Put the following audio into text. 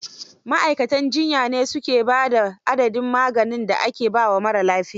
Ma'aikatan jiyya ne su ke ba da adadin maganin da aka ba wa marar lafiya.